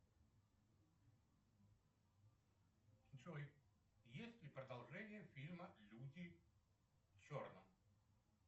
джой есть ли продолжение фильма люди в черном